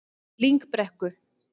Lyngbrekku